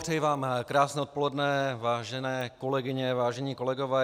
Přeji vám krásné odpoledne, vážené kolegyně, vážení kolegové.